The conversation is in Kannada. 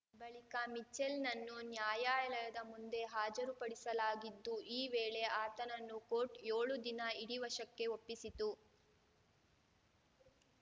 ಬಳಿಕ ಮಿಚೆಲ್‌ನನ್ನು ನ್ಯಾಯಾಲಯದ ಮುಂದೆ ಹಾಜರುಪಡಿಸಲಾಗಿದ್ದು ಈ ವೇಳೆ ಆತನನ್ನು ಕೋರ್ಟ್‌ ಯೋಳು ದಿನ ಇಡಿ ವಶಕ್ಕೆ ಒಪ್ಪಿಸಿತು